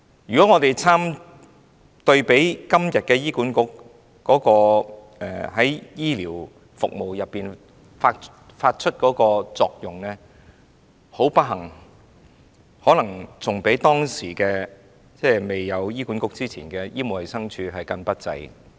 如果我們比對今時今日醫管局在醫療服務中發揮的作用，不幸地，可能較以往未有醫管局時的醫務衞生署更加不濟。